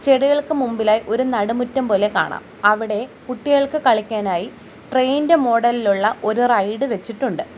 ചെടികൾക്ക് മുമ്പിലായി ഒരു നടുമുറ്റം പോലെ കാണാം അവിടെ കുട്ടികൾക്ക് കളിക്കാനായി ട്രെയിൻ ഇന്റെ മോഡലിലുള്ള ഒരു റൈഡ് വെച്ചിട്ടുണ്ട്.